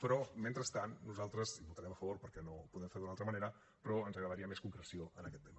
però mentrestant nosaltres hi votarem a favor perquè no ho podem fer d’altra manera però ens agradaria més concreció en aquest tema